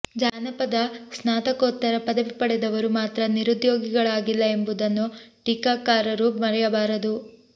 ಜಾನಪದ ಸ್ನಾತಕೋತ್ತರ ಪದವಿ ಪಡೆದವರು ಮಾತ್ರ ನಿರುದ್ಯೋಗಿಗಳಾಗಿಲ್ಲ ಎಂಬುದನ್ನು ಟೀಕಾಕಾರರು ಮರೆಯಬಾರದು